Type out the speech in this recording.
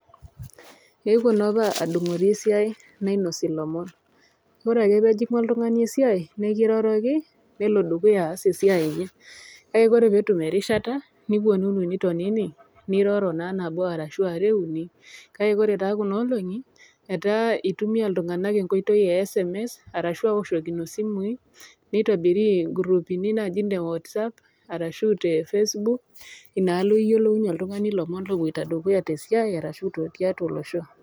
Ewuo naapa adungori esiai nainosi lomon ,ore ake pejingu oltungani esiai nekiroroki nelo dukuya aas esiai enye ,kake ore peetum erishata niponunu nitonini niroro naa nabo arashu are uni, kake ore taa kuna olongi etaa itumia iltunganak nkoitoi e sms arashu awoshokino simui nitoki aitobirii nkurupi naji ne watsapp arashu te Facebook inaalo iyolounue oltungani lomon tedukuya tesiai ata tiatua olosho.